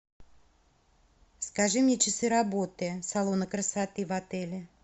скажи мне часы работы салона красоты в отеле